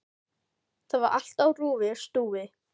Þar var allt á rúi og stúi.